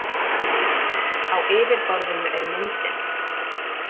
Á yfirborðinu er myndin.